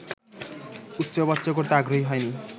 উচ্চবাচ্য করতে আগ্রহী হয়নি